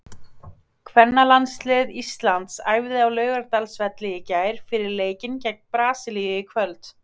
Kvennalandslið Íslands æfði á Laugardalsvelli í gær fyrir leikinn gegn Brasilíu í kvöld.